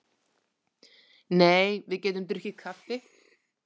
Nei, við getum drukkið kaffi.